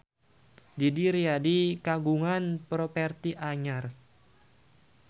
Didi Riyadi kagungan properti anyar